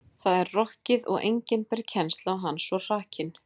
Það er rokkið og enginn ber kennsl á hann svo hrakinn.